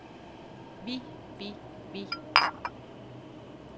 vi vi vi